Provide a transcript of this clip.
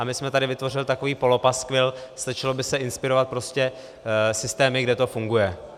A my jsme tady vytvořili takový polopaskvil, stačilo by se inspirovat prostě systémy, kde to funguje.